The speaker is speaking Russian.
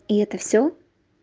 и это всё